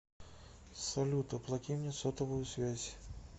салют оплати мне сотовую связь